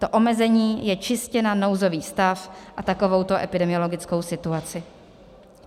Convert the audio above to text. To omezení je čistě na nouzový stav a takovouto epidemiologickou situaci.